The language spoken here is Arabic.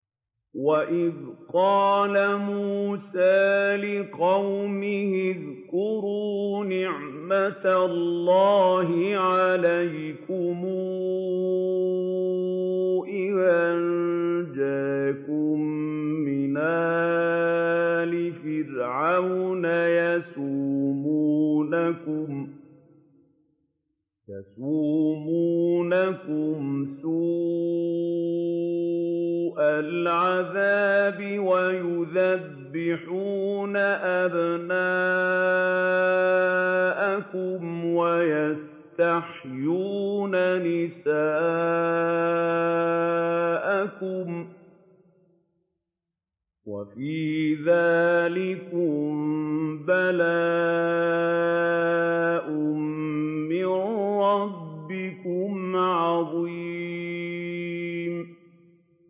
وَإِذْ قَالَ مُوسَىٰ لِقَوْمِهِ اذْكُرُوا نِعْمَةَ اللَّهِ عَلَيْكُمْ إِذْ أَنجَاكُم مِّنْ آلِ فِرْعَوْنَ يَسُومُونَكُمْ سُوءَ الْعَذَابِ وَيُذَبِّحُونَ أَبْنَاءَكُمْ وَيَسْتَحْيُونَ نِسَاءَكُمْ ۚ وَفِي ذَٰلِكُم بَلَاءٌ مِّن رَّبِّكُمْ عَظِيمٌ